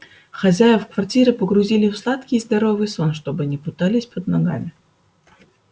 хозяев квартиры погрузили в сладкий и здоровый сон чтобы не путались под ногами